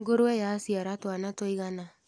Ngũrũwe yaciara twana tũigana.